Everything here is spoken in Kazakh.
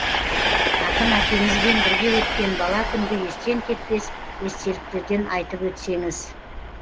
ақын әкеңізбен бірге өткен бала күнгі естен кетпес естеліктерден айтып өтсеңіз